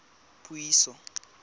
puiso